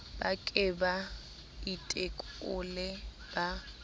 ba ke ba itekole ba